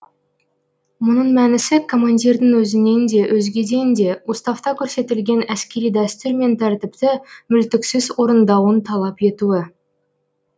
мұның мәнісі командирдің өзінен де өзгеден де уставта көрсетілген әскери дәстүр мен тәртіпті мүлтіксіз орындауын талап етуі